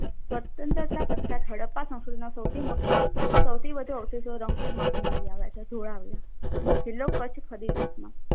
સ્વતંત્ર પછી હડપ્પા સંસ્કૃતિનો સૌથી વધુ અવષેશો રંગપુર માંથી મળી આવ્યા છે. ધોળાવ્યા જિલ્લો કચ્છના